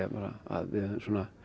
að við höfum